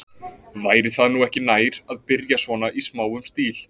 Væri það nú ekki nær, að byrja svona í smáum stíl?